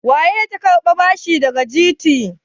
Wace ce ta karbi bashi daga GTBank?